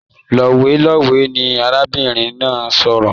Lowelowe ní arábìnrin náà n sọ̀rọ̀.